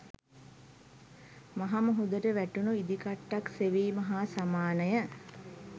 මහ මුහුදට වැටුණු ඉදිකට්ටක් සෙවීම හා සමානය